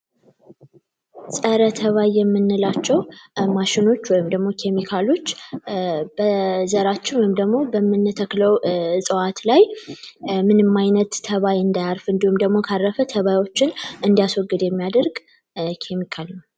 የምንላቸው ማሸኖች ወይም ኬሚካሎች በዘራቸው ወይም በተተከለው እጽዋት ላይ ምንም አይነት ተባይ እንዳያርፍ እንደሁም ደግሞ ካረፈ ተባይ እንዲያስወግድ የሚያደርግ ኬሚካል ነው።